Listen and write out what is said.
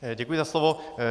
Děkuji za slovo.